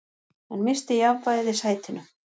Hann missti jafnvægið í sætinu.